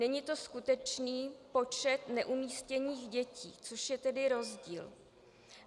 Není to skutečný počet neumístěných dětí, což je tedy rozdíl.